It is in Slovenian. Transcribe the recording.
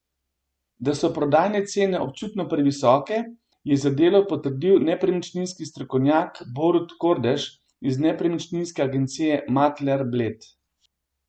Da so prodajne cene občutno previsoke, je za Delo potrdil nepremičninski strokovnjak Borut Kordež iz nepremičninske agencije Makler Bled.